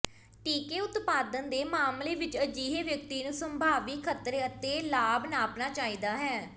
ਟੀਕੇ ਉਤਪਾਦਨ ਦੇ ਮਾਮਲੇ ਵਿਚ ਅਜਿਹੇ ਵਿਅਕਤੀ ਨੂੰ ਸੰਭਾਵੀ ਖਤਰੇ ਅਤੇ ਲਾਭ ਨਾਪਣਾ ਚਾਹੀਦਾ ਹੈ